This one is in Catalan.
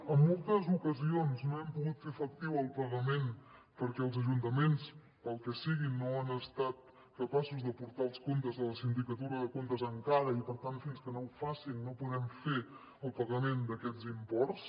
en moltes ocasions no hem pogut fer efectiu el pagament perquè els ajuntaments pel que sigui no han estat capaços d’aportar els comptes a la sindicatura de comptes encara i per tant fins que no ho facin no podem fer el pagament d’aquests imports